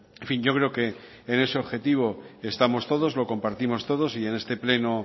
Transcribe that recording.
en fin yo creo que en ese objetivo estamos todos lo compartimos todos y en este pleno